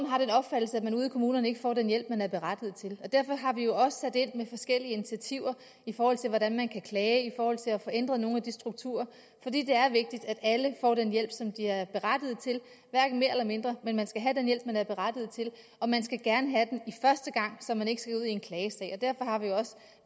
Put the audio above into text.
kommunerne ikke får den hjælp som man er berettiget til derfor har vi jo også sat ind med forskellige initiativer i forhold til hvordan man kan klage i forhold til at få ændret nogle af de strukturer for det er vigtigt at alle får den hjælp som de er berettiget til hverken mere eller mindre men man skal have den hjælp man er berettiget til og man skal gerne have den første gang så man ikke skal ud i en klagesag og derfor har vi også